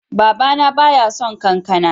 Baba na ba ya son kankana.